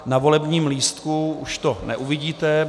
Na volebním lístku už to neuvidíte.